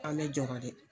An bɛ jɔrɔ de